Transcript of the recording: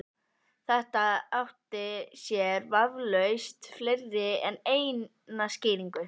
Þetta átti sér vafalaust fleiri en eina skýringu.